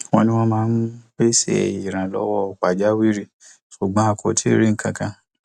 wọn ní wọn máa pese ìrànlọwọ pajawiri ṣùgbọn a kò tíì rí nkankan